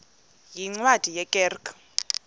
yeencwadi ye kerk